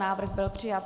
Návrh byl přijat.